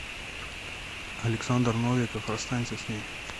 александр новиков расстанься с ней